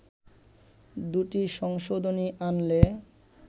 দু’টি সংশোধনী আনলে